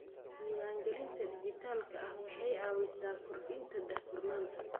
Diiwaangelinta dhijitaalka ah waxay caawisaa kordhinta daahfurnaanta.